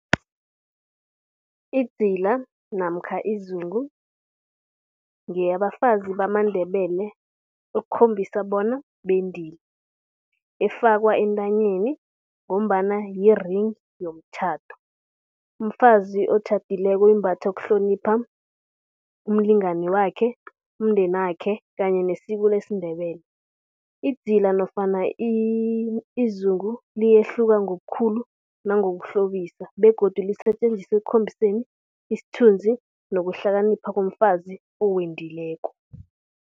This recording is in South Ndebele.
Idzila namkha izungu ngeyabafazi bamaNdebele ukukhombisa bona bendile, efakwa entanyeni ngombana yi-ring yomtjhado. Umfazi otjhadileko uyimbatha ukuhlonipha umlingani wakhe umndenakhe kanye nesiko lesiNdebele. Idzila nofana izungu liyahluka ngobukhulu nangokukuhlobisa begodu lisetjenziswa ekukhombiseni isithunzi nokuhlakanipha komfazi owendileko.